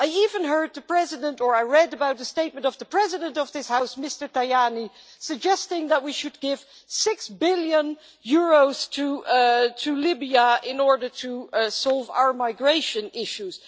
I even heard the President, or I read about the statement of the President of this House, Mr Tajani, suggesting that we should give EUR 6 billion to Libya in order to solve our migration issues.